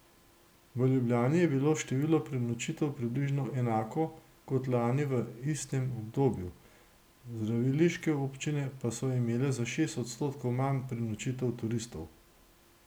V Ljubljani je bilo število prenočitev približno enako kot lani v istem obdobju, zdraviliške občine pa so imele za šest odstotkov manj prenočitev turistov.